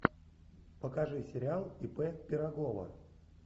покажи сериал ип пирогова